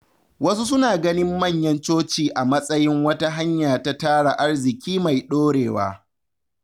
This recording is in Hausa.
Wasu suna ganin manyan coci a matsayin wata hanya ta tara arziƙi mai ɗorewa.